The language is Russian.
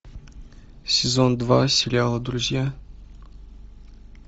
сезон два сериала друзья